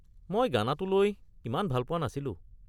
মই গানাটো লৈ ইমান ভাল পোৱা নাছিলো।